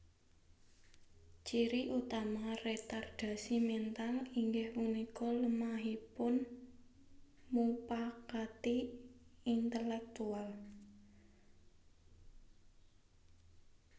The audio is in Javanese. Ciri utama retardasi mental inggih punika lemahipun mupangati intelektual